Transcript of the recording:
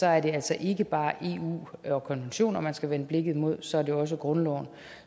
er det altså ikke bare eu og konventioner man skal vende blikket mod så er det også grundloven